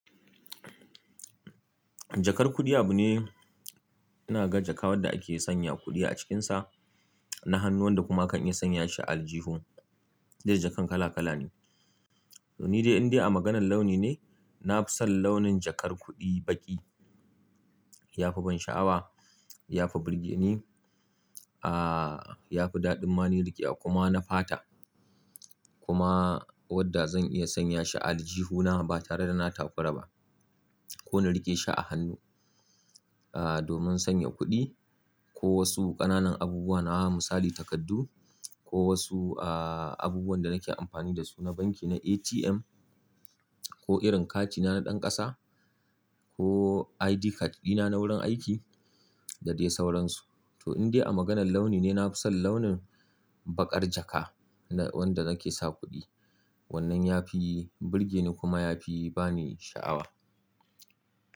Jakar kuɗi abu ne. Ina ga jaka wanda ake sanya kuɗi a cikinsa na hannu wanda kuma kan iya sanya shi a aljihu. Duk da jakan kala kala ne. To ni dai in dai a maganar launi ne, na fi son launin jakar kuɗi baƙi. Ya fi bani sha'awa, ya fi burge ni. Ah, ya fi daɗin ma ni riƙe a kuma na fata. Kuma wanda zan iya sanya shi a aljihuna ba tare da na tafara ba. Ko na riƙe shi a hannu, ah, domin sanya kuɗi ko wasu ƙananan abubuwa na wa misali takardu ko wasu, ah, abubuwan da nake amfani da su na banki na ATM ko irin katina na ɗan ƙasa ko ID card dina na wurin aiki da dai sauransu. To in dai a maganar launi ne, na fi son launin baƙar jaka wanda nake sa kuɗi. Wannan ya fi burge ni kuma ya fi bani sha'awa.